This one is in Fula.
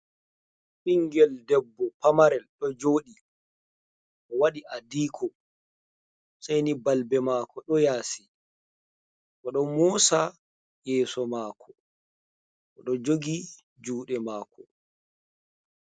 Ɓingel debbo pamarel ɗo joɗi, o waɗi adiikom sei ni balbe mako ɗo yaasi, bo ɗo mosa yeso maako, bo ɗo jogi juɗe mako.